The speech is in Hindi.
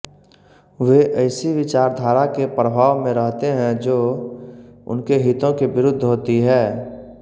वे ऐसी विचारधारा के प्रभाव में रहते हैं जो उनके हितों के विरुद्ध होती है